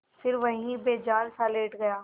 फिर वहीं बेजानसा लेट गया